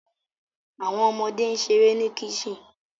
Awọn ọmọde n ṣere ni kicten